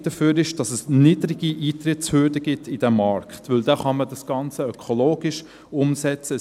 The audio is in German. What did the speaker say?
Wichtig dafür ist, dass es niedrige Eintrittshürden in diesen Markt gibt, weil man dann das Ganze ökologisch umsetzen kann.